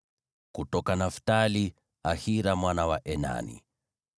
kutoka Naftali, ni Ahira mwana wa Enani.”